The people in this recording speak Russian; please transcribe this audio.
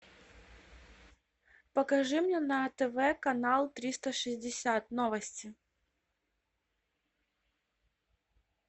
покажи мне на тв канал триста шестьдесят новости